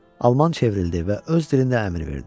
Alman çevrildi və öz dilində əmr verdi.